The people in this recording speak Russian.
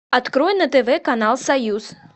открой на тв канал союз